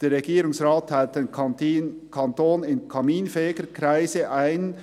«Der Regierungsrat teilt den Kanton in Kaminfegerkreise ein.